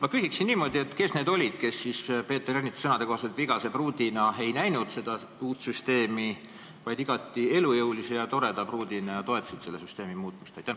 Ma küsingi: kes olid need, kes ei pidanud seda uut süsteemi, kui kasutada Peeter Ernitsa sõnu, vigaseks pruudiks, vaid igati elujõuliseks ja toredaks pruudiks ja toetasid süsteemi muutmist?